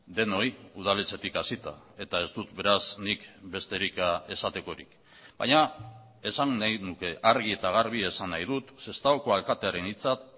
denoi udaletxetik hasita eta ez dut beraz nik besterik esatekorik baina esan nahi nuke argi eta garbi esan nahi dut sestaoko alkatearen hitzak